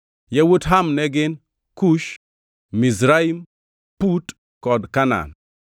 Yawuot Ham ne gin: Kush, Mizraim, Put kod Kanaan.